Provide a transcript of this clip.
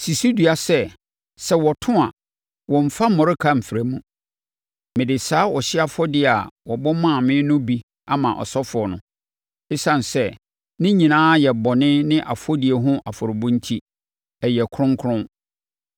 Si so dua sɛ, sɛ wɔto a, wɔmmfa mmɔreka mfra mu. Mede saa ɔhyeɛ afɔdeɛ a wɔbɔ maa me no bi ama asɔfoɔ no. Esiane sɛ ne nyinaa yɛ bɔne ne afɔdie ho afɔrebɔ enti, ɛyɛ kronkron.